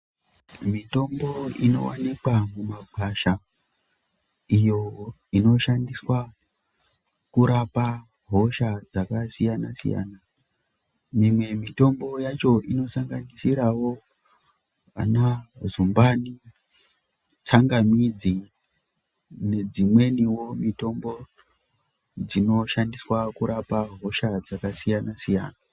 Mitombo inowanikwa mumagwasha iyo inoshandiswa kurapa hosha dzakasiyana siyana, mimwe mitombo yacho inosanganisirawo ana zumbani, tsangamidzi nedzimweniwo mitombo dzinoshandiswa kurapa hosha dzakasiyana siyana.